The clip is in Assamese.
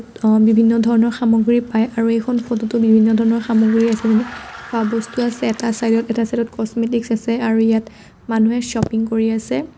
অ' বিভিন্ন ধৰণৰ সামগ্ৰী পাই আৰু এইখন ফটো টো বিভিন্ন ধৰণৰ সামগ্ৰী আছে খোৱা বস্তু আছে এটা চাইদ ত এটা চাইদ ত কস্মেটিকচ আছে আৰু ইয়াত মানুহে চপিং কৰি আছে।